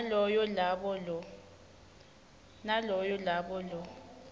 naloyo labo lo